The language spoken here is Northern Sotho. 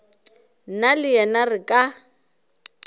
nna le wena re ka